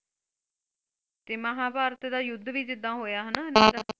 ਤੇ ਮਹਾਭਾਰਤ ਦਾ ਯੁੱਧ ਵੀ ਜਿਦਾ ਹੋਇਆ ਹਨਾ .